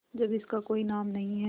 जब इसका कोई नाम नहीं है